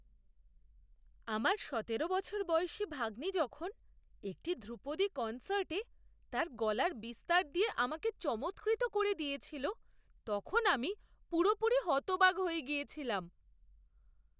আমার সতেরো বছর বয়সী ভাগ্নি যখন একটি ধ্রুপদী কনসার্টে তার গলার বিস্তার দিয়ে আমাকে চমৎকৃত করে দিয়েছিল তখন আমি পুরোপুরি হতবাক হয়ে গিয়েছিলাম।